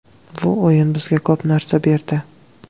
Bu o‘yin bizga ko‘p narsa berdi.